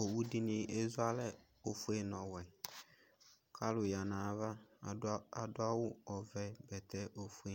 owʋdini ezualɛ ofue nu ɔwɛ kaluya nayava aduawʋ ɔvɛ ɛdi ofue